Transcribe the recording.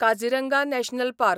Kaziranga national park